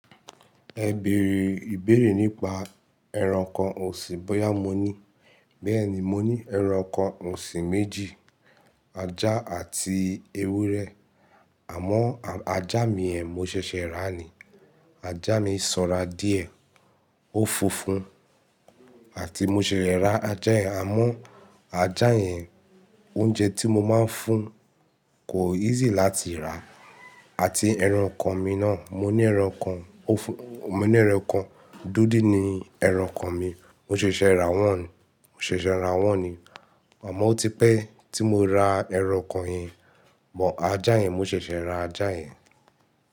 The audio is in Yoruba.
Ẹ bèrè ìbéèrè nípa ẹranko òsìn bóyá mo ní. Bẹ́ẹ̀ ni, mo ní ẹranko òsìn méjì, ajá àti ewúrẹ́. Àmọ́ ajá mi yẹ́n, mo ṣẹ̀ṣẹ̀ rà ni. Ajá mi sanra díẹ̀, ó funfun àti mo ṣẹ̀ṣẹ̀ ra ajá yẹn. Àmọ́ ajá yẹn, oúnjẹ tí mo máa ń fún kò easy láti rà. Àti ẹranko mi náà, mo ní ẹranko, mo ní ẹranko, dúdú ni ẹranko mi. Mo ṣẹ̀ṣẹ̀ rà wọ́n, mo ṣẹ̀ṣẹ̀ rà wọ́n ni. Àmọ́ ó ti pẹ́ tí mo ra ẹranko yẹn, but ajá yẹn mo ṣẹ̀ṣẹ̀ ra ajá yẹn.